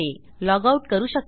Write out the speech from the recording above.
log out करू शकते